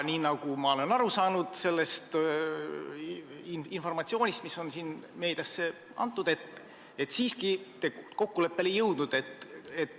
Aga nagu ma olen aru saanud sellest informatsioonist, mis on meediale antud, te siiski kokkuleppele ei jõudnud.